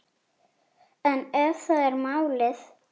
En ef það er málið?